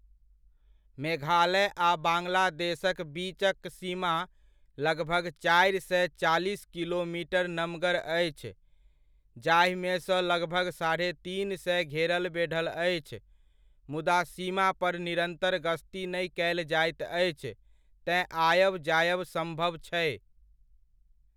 मेघालय आ बांग्लादेशक बीचक सीमा लगभग चारि सए चालीस किलोमीटर नमगर अछि, जाहिमेसँ लगभग साढ़े तीन सए घेरल बेढ़ल अछि, मुदा सीमा पर निरन्तर गश्ती नहि कयल जाइत अछि, तेँ आयब जायब सम्भव छै।